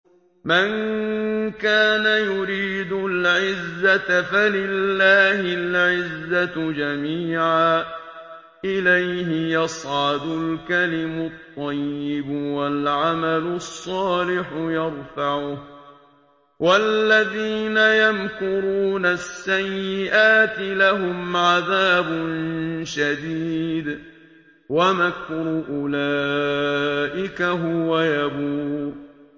مَن كَانَ يُرِيدُ الْعِزَّةَ فَلِلَّهِ الْعِزَّةُ جَمِيعًا ۚ إِلَيْهِ يَصْعَدُ الْكَلِمُ الطَّيِّبُ وَالْعَمَلُ الصَّالِحُ يَرْفَعُهُ ۚ وَالَّذِينَ يَمْكُرُونَ السَّيِّئَاتِ لَهُمْ عَذَابٌ شَدِيدٌ ۖ وَمَكْرُ أُولَٰئِكَ هُوَ يَبُورُ